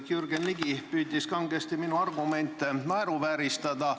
Jürgen Ligi püüdis kangesti minu argumente naeruvääristada.